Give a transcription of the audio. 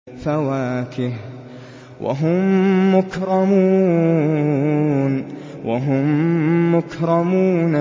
فَوَاكِهُ ۖ وَهُم مُّكْرَمُونَ